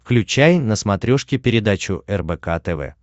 включай на смотрешке передачу рбк тв